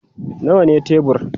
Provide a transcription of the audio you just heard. Nawa ne tebur?